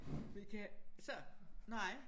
Vi kan så nej